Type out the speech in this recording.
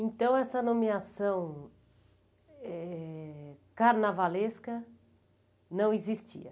Então essa nomeação eh carnavalesca não existia?